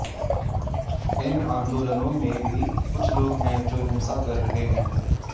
इन आंदोलनों में भी कुछ लोग हैं जो हिंसा कर रहे हैं